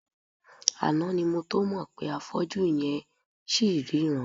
Àná ni mo tó mọ̀ pé afọ́jú yẹn ls ríran.